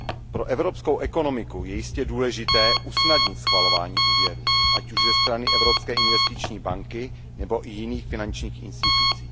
Pro evropskou ekonomiku je jistě důležité usnadnit schvalování úvěrů, ať už ze strany Evropské investiční banky nebo i jiných finančních institucí.